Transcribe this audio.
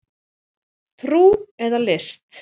Trú eða list